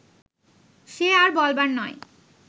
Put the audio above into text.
সে আর বলবার নয়